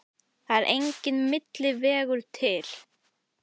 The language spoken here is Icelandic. Það er enginn milli vegur til.